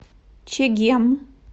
чегем